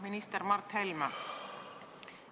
Minister Mart Helme!